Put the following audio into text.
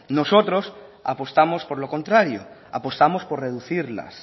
nosotros apostamos por lo contrario apostamos por reducirlas